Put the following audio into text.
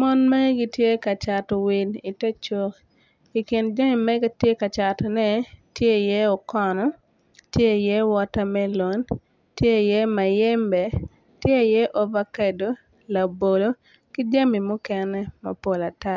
Mon mere gitye cato wil i ter cuk i kin jami magitye catone tye i ye okono tye i ye water melon tye i ye mayembe tye i ye ovakedo labolo ki jami mukene mapol ata.